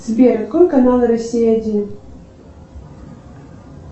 сбер открой канал россия один